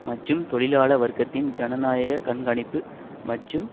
மற்றும் தொழிலாள வர்க்கத்தின் ஜனநாயக கண்காணிப்பு மற்றும்